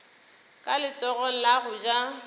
ka letsogong la go ja